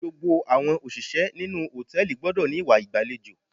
Gbogbo àwọn òṣìṣẹ́ inú hòtẹ́ẹ̀lì gbọ́dọ̀ ní ìwà ìgbàlejò.